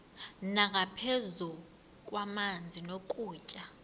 nangaphezu kwamanzi nokutya